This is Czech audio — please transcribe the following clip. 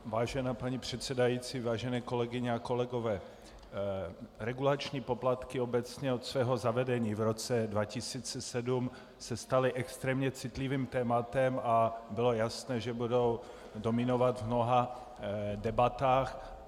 Vážená paní předsedající, vážené kolegyně a kolegové, regulační poplatky obecně od svého zavedení v roce 2007 se staly extrémně citlivým tématem a bylo jasné, že budou dominovat v mnoha debatách.